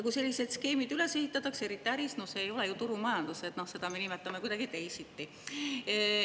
Kui sellised skeemid üles ehitatakse, eriti äris – no see ei ole ju turumajandus, seda me nimetame kuidagi teisiti.